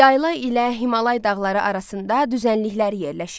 Yayla ilə Himalay dağları arasında düzənliklər yerləşir.